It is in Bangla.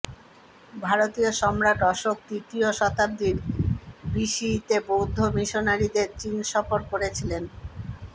ভারতীয় সম্রাট অশোক তৃতীয় শতাব্দীর বিসিইতে বৌদ্ধ মিশনারিদের চীন সফর করেছিলেন